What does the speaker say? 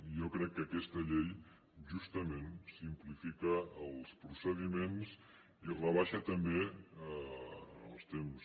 jo crec que aquesta llei justament simplifica els procediments i rebaixa també en els temps